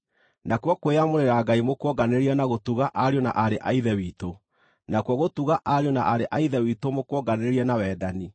nakuo kwĩyamũrĩra Ngai mũkuonganĩrĩrie na gũtuga ariũ na aarĩ a Ithe witũ; nakuo gũtuga ariũ na aarĩ a Ithe witũ mũkuonganĩrĩrie na wendani.